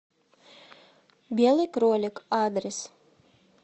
белый кролик адрес